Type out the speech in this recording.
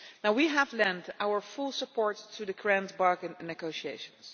We have lent our full support to the Grand Bargain negotiations.